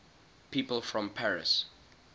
people from paris